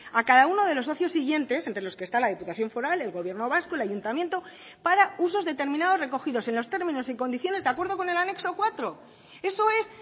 a cada uno de los socios siguientes entre los que está la diputación foral el gobierno vasco el ayuntamiento para usos determinados recogidos en los términos y condiciones de acuerdo con el anexo cuatro eso es